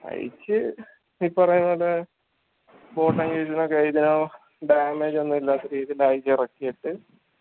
അഴിച്ച് repair ആക്കണ്ടേ damage ഒന്നുല്ലാത്ത രീതിയിൽ അഴിച്ചെറക്കീറ്റ്